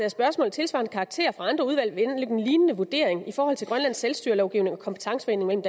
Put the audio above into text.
af spørgsmål af tilsvarende karakter fra andre udvalg vil anlægge en lignende vurdering i forhold til grønlands selvstyrelovgivning og kompetencefordelingen